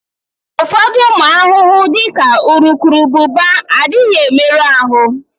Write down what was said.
Ụfọdụ ụmụ ahụhụ, dị ka urukurubụba, adịghị emerụ ahụ.